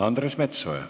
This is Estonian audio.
Andres Metsoja.